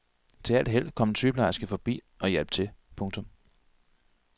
Til alt held kom en sygeplejerske forbi og hjalp til. punktum